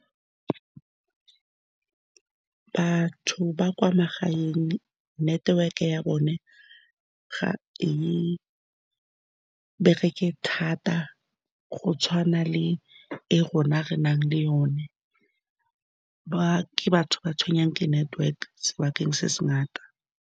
Batho ba kwa magaeng, network-e ya bona ga e bereke thata go tshwana le e rona re nang le yone. Ba ke batho ba ba tshwenngwang ke network-e, sebakeng se se ngata.